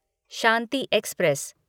Shanti express